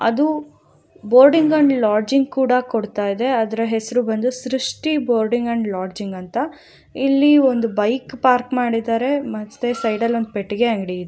ಅದು boarding and lodging ಕೂಡ ಕೊಡತ್ತಾ ಇದೆ ಅದ್ರ ಹೆಸ್ರ ಬಂದು ಸೃಷ್ಟಿ ಬೋರ್ಡಿಂಗ್ ಆಂಡ್ ಲೊಡ್ಜಿಂಗ್ ಅಂತ ಇಲ್ಲಿ ಒಂದು ಬೈಕ್ ಪಾರ್ಕ್ ಮಾಡಿದಾರೆ ಮತ್ತೆ ಸೈಡ ಲ್ಲಿ ಒಂದ ಪೆಟ್ಟಗೆ ಅಂಗಡಿ ಇದೆ.